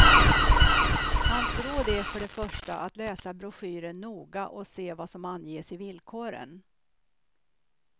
Hans råd är för det första att läsa broschyren noga och se vad som anges i villkoren.